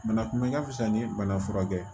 Bana kunbɛn ka fisa ni bana furakɛ ye